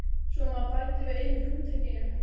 Svo maður bæti við enn einu hugtakinu.